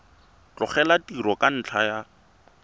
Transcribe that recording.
tlogela tiro ka ntlha ya